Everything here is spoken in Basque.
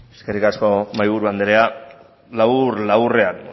zurea da hitza eskerrik asko mahaiburu andrea labur laburrean